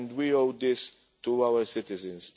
We owe this to our citizens.